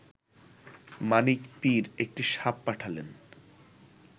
মানিক পীর একটি সাপ পাঠালেন